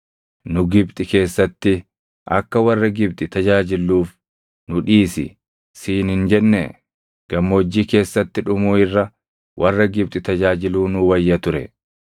Nu Gibxi keessatti, ‘Akka warra Gibxi tajaajilluuf nu dhiisi’ siin hin jennee? Gammoojjii keessatti dhumuu irra warra Gibxi tajaajiluu nuu wayya ture!”